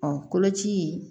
Ɔ koloci